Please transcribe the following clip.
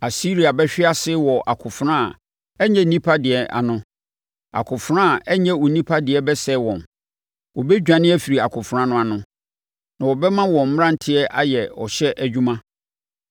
“Asiria bɛhwe ase wɔ akofena a ɛnyɛ onipa deɛ ano; akofena a ɛnyɛ onipa deɛ bɛsɛe wɔn. Wɔbɛdwane afiri akofena no ano na wɔbɛma wɔn mmeranteɛ ayɛ ɔhyɛ adwuma.